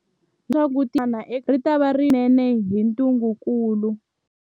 Hi lemukile leswaku tiko rin'wana na rin'wana eka tikokulu ritava ri khumbiwile swinene hi ntungukulu.